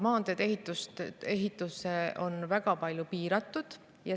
Maanteede ehituse raha on väga palju piiratud.